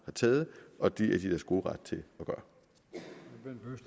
har taget og det er de i deres gode ret til at